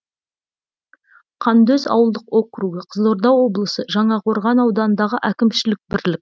қандөз ауылдық округі қызылорда облысы жаңақорған ауданындағы әкімшілік бірлік